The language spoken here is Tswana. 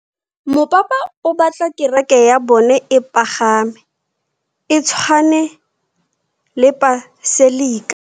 Mopapa o batla kereke ya bone e pagame, e tshwane le paselika.